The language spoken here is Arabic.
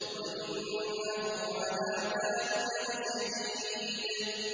وَإِنَّهُ عَلَىٰ ذَٰلِكَ لَشَهِيدٌ